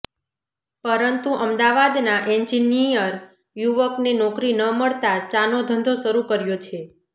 પરંતુ અમદાવાદના એન્જિનિયર યુવકને નોકરી ન મળતા ચાનો ધંધો શરૂ કર્યો છે